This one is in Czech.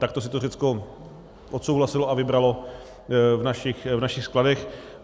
Takto si to Řecko odsouhlasilo a vybralo v našich skladech.